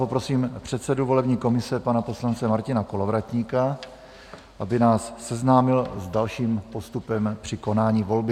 Poprosím předsedu volební komise, pana poslance Martina Kolovratníka, aby nás seznámil s dalším postupem při konání volby.